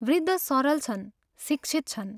वृद्ध सरल छन्, शिक्षित छन्।